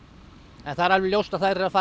en það er alveg ljóst að þær eru að fara